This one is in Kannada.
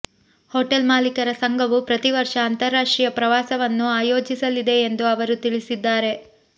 ಹೊಟೇಲ್ ಮಾಲೀಕರ ಸಂಘವು ಪ್ರತಿ ವರ್ಷ ಅಂತಾರಾಷ್ಟ್ರೀಯ ಪ್ರವಾಸವನ್ನು ಆಯೋಜಿಸಲಿದೆ ಎಂದು ಅವರು ತಿಳಿಸಿದ್ದಾರೆ